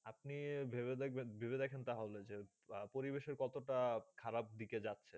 আপনি ভেবে থাকবেন ভেবে দেখেন তা হলে যে পরিবেশে কত তা খারাব দিকে যাচ্ছেযে